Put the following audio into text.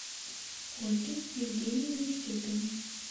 ольге евгеньевне степиной